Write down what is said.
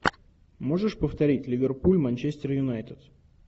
можешь повторить ливерпуль манчестер юнайтед